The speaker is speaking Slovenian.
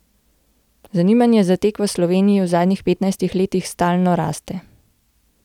Zanimanje za tek v Sloveniji v zadnjih petnajstih letih stalno raste.